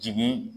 Jigi